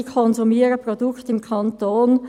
Sie konsumieren Produkte im Kanton.